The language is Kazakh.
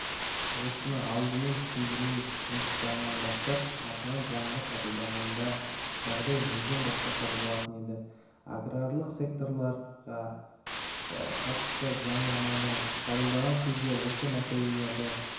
осыны алдымен түсіндіру жұмыстарынан бастап артынан заңды қабылдағанда жағдай мүлдем басқаша болатын еді аграрлық секторға қатысты заңнаманы қабылдаған кезде осы мәселелерді